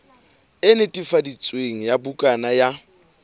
e netefaditsweng ya bukana ya